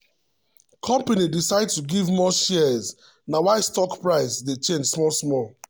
company decide to give more shares na why stock price dey change small-small.